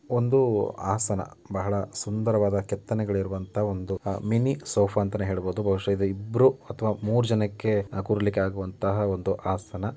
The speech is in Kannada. ಒಂದು ಆಸನ ಬಹಳ ಸುಂದರವಾದ ಕೆತ್ತನೆಗಳು ಇರುವಂತಹ ಒಂದು ಮಿನಿ ಸೋಪ ಅಂತ ಹೇಳಬಹುದು ಬಹುಶಃ ಇದನ್ನು ಇಬ್ರು ಮೂರು ಜನಕ್ಕೆ ಕೂರ್ಲಿಕ್ಕೆ ಆಗುವಂತಹ ಒಂದು ಆಸನ .